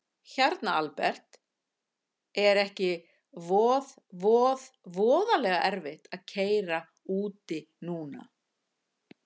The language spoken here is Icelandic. Hérna Albert, er ekki voð voð voðalega erfitt að keyra úti núna?